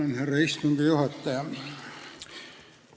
Tänan, härra istungi juhataja!